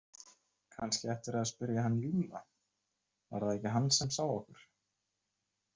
Kannski ættirðu að spyrja hann Júlla, var það ekki hann sem sá okkur?